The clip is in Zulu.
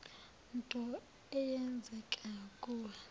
nto eyenzeke kuwe